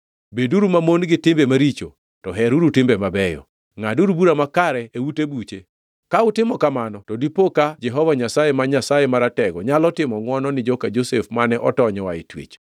Beduru mamon gi timbe maricho, to heruru timbe mabeyo; ngʼaduru bura makare e ute buche. Ka utimo kamano, to dipo ka Jehova Nyasaye, ma Nyasaye Maratego nyalo timo ngʼwono ni joka Josef mane otony oa e twech.